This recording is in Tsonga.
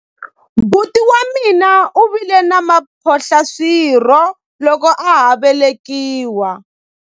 buti wa mina u vile na mphohlaswirho loko a ha ku velekiwa